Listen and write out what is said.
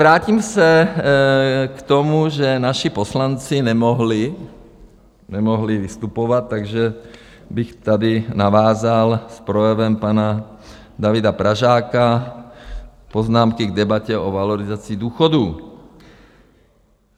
Vrátím se k tomu, že naši poslanci nemohli, nemohli vystupovat, takže bych tady navázal s projevem pana Davida Pražáka: Poznámky k debatě o valorizaci důchodů.